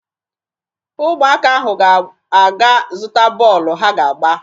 Ụmụaka ahụ ga-aga zụta bọọlụ ha ga-agba